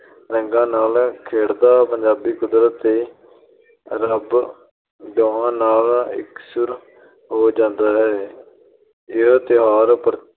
ਅਹ ਰੰਗਾਂ ਨਾਲ ਖੇਡਦਾ ਪੰਜਾਬੀ ਕੁਦਰਤ ਤੇ ਰੱਬ ਦੋਹਾਂ ਨਾਲ ਇਕਸੁਰ ਹੋ ਜਾਂਦਾ ਹੈ । ਇਹ ਤਿਉਹਾਰ